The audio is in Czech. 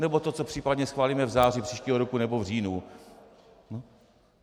Nebo to, co případně schválíme v září příštího roku nebo v říjnu?